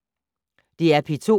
DR P2